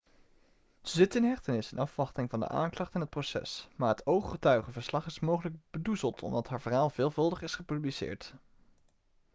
ze zit in hechtenis in afwachting van de aanklacht en het proces maar het ooggetuigenverslag is mogelijk bedoezeld omdat haar verhaal veelvuldig is gepubliceerd